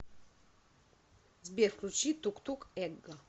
сбер включи тук тук эго